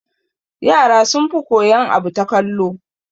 Yara sun fi koyan abu ta kallo